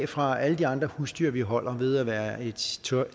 fra alle de andre husdyr vi holder ved at være et